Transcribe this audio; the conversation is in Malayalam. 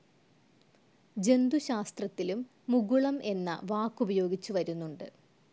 ജന്തുശാസ്ത്രത്തിലും മുകുളം എന്ന വാക്കുപയോഗിച്ചുവരുന്നുണ്ട്.